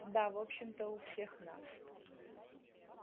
да в общем-то у всех нас